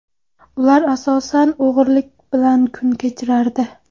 Ular asosan o‘g‘rilik bilan kun kechirardi.